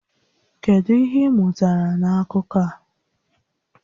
Kedu ihe ị mụtara na akụkọ a?